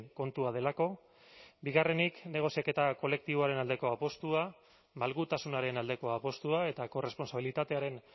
kontua delako bigarrenik negoziaketa kolektiboaren aldeko apustua malgutasunaren aldeko apustua eta korrespontsabilitatearen